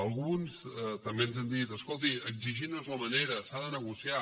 alguns també ens han dit escolti exigir no és la manera s’ha de negociar